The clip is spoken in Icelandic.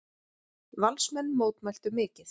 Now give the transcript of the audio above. Valsmenn mótmæltu mikið.